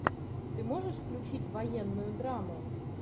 ты можешь включить военную драму